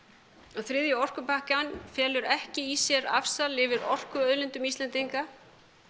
að þriðji orkupakkinn felur ekki í sér afsal yfir orkuauðlindum Íslendinga